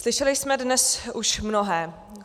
Slyšeli jsme dnes už mnohé.